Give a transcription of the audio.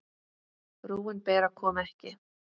Frúin Bera kom ekki.